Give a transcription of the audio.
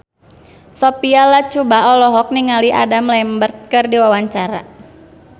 Sophia Latjuba olohok ningali Adam Lambert keur diwawancara